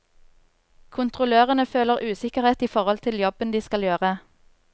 Kontrollørene føler usikkerhet i forhold til jobben de skal gjøre.